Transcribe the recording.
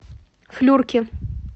флюрки